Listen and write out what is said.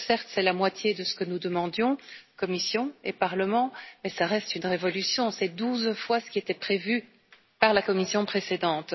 Alors, certes, c'est la moitié de ce que nous demandions, Commission et Parlement, mais cela reste une révolution, c'est douze fois ce qui était prévu par la Commission précédente.